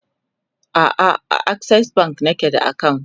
a'a a akses bank nake da akawunt